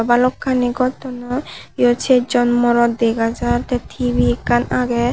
balokkani gor tullon eyot sejjon morot dega jaar te T_V ekkan agey.